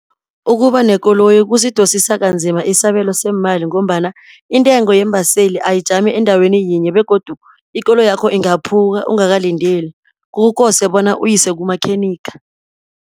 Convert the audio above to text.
Ukubanekoloyi kusidosisa kanzima isabelo semali, ngombana intengo yeembaseli ayijami endaweni yinye, begodu ikoloyakho ingaphuka ungakalindeli, kukose bona uyisekumakhenika.